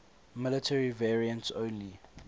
military variants only